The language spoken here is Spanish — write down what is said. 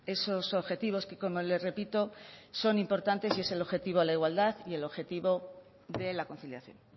esos objetivos que como le repito son importantes y es el objetivo a la igualdad y el objetivo de la conciliación